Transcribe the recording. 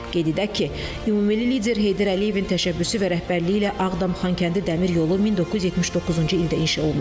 Qeyd edək ki, Ümummilli lider Heydər Əliyevin təşəbbüsü və rəhbərliyi ilə Ağdam-Xankəndi Dəmir yolu 1979-cu ildə inşa olunub.